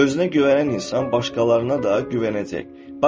Özünə güvənən insan başqalarına da güvənəcək.